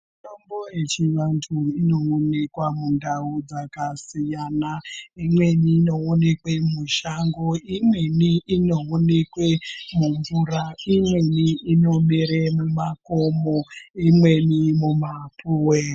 Mitombo yechivantu inonekwa mundau dzakasiyana. Imweni inoonekwa mushango, imweni inoonekwe mumvura, imweni inomera mumakomo imweni mumapuve.